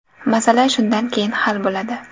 Masala shundan keyin hal bo‘ladi.